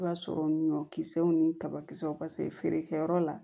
I b'a sɔrɔ ɲɔ kisɛw ni kabakisɛw paseke feerekɛyɔrɔ la